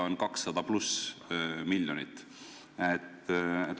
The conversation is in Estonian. Kõige optimistlikum kalkulatsioon pakub summaks 200 miljonit pluss veel midagi.